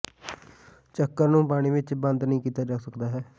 ਚੱਕਰ ਨੂੰ ਪਾਣੀ ਵਿਚ ਬੰਦ ਨਹੀਂ ਕੀਤਾ ਜਾਂਦਾ ਹੈ